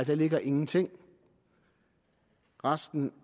der ligger ingenting resten